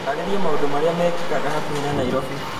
taarĩria maũndũ marĩa mekĩkaga hakuhĩ na Nairobi